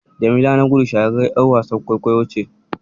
Jamila Nagudu shahararriyar ƴar wasan kwaikwayo ce.